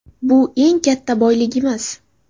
Bu eng katta boyligimiz.